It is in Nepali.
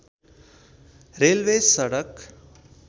रेलवे सडक